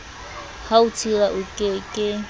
ha o tshila oke ke